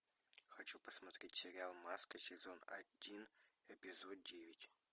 хочу посмотреть сериал маска сезон один эпизод девять